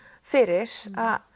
fyrir